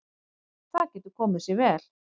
Það getur komið sér vel.